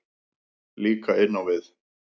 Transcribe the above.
Líka inn á við.